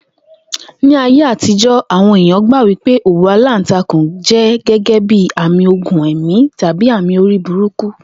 Ní ayé àtijó̩, àwo̩n èèyàn gbà wípé òwú aláǹtakùn gé̩gé̩ àmì ogun è̩mí tàbí àmì orí burúkú